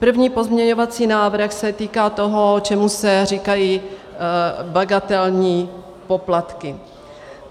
První pozměňovací návrh se týká toho, čemu se říkají bagatelní poplatky.